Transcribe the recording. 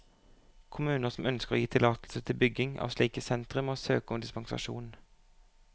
Kommuner som ønsker å gi tillatelse til bygging av slike sentre, må søke om dispensasjon.